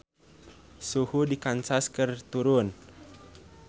Suhu di Kansas keur turun